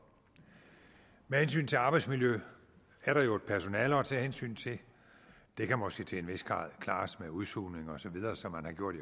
med hensyn til arbejdsmiljø er der jo et personale at tage hensyn til det kan måske til en vis grad klares med udsugning osv sådan som man har gjort